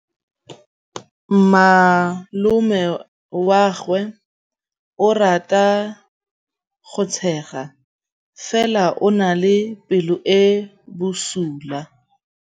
Malomagwe o rata go tshega fela o na le pelo e e bosula.